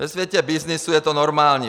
Ve světě byznysu je to normální.